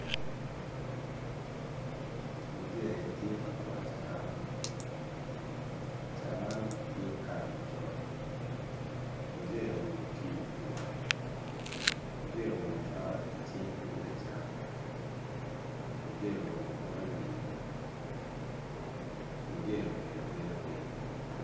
Muje tye ka kwoyo caran caran tye kala macol, muje oruko kio i wange muje oruko cwa i cinge tung lacam muje oruko tok i wiye muje obedo abeda piny.